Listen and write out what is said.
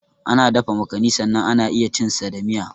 Ana dafa makani sannan ana iya cin sa da miya.